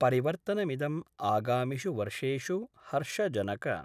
परिवर्तनमिदम् आगामिषु वर्षेषु हर्षजनक